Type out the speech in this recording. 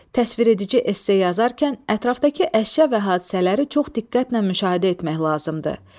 Təsviredici esse yazarkən ətrafdakı əşya və hadisələri çox diqqətlə müşahidə etmək lazımdır.